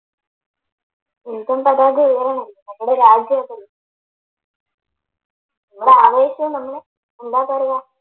Indian പതാക ഉയരണം നമ്മടെ രാജ്യം അതല്ലേ നിങ്ങടെ ആവേശം എന്താ പറയാ